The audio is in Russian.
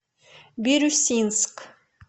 бирюсинск